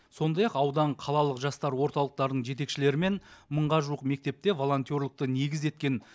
сондай ақ аудан қалалық жастар орталықтарының жетекшілерімен мыңға жуық мектепте волонтерлікті негіз еткен